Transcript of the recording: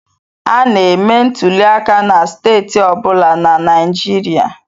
A na-eme ntuliaka na steeti ọ bụla na Naịjirịa.